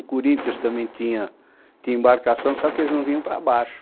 O Corinthians também tinha tinha embarcação, só que eles não vinham para baixo.